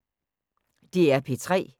DR P3